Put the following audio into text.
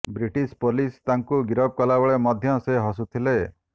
British police ତାଙ୍କୁ ଗିରଫ କଲାବେଳେ ମଧ୍ୟ ସେ ହସୁଥିଲେ